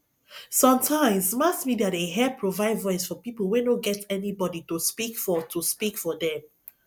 sometimes mass media dey help provide voice for people wey no get anybody to speak for to speak for them